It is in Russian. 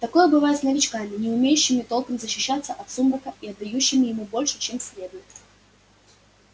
такое бывает с новичками не умеющими толком защищаться от сумрака и отдающими ему больше чем следует